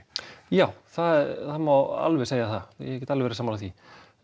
já það má alveg segja það ég get alveg verið sammála því